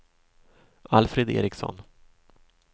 Alfred Ericsson